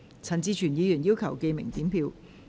陳志全議員要求點名表決。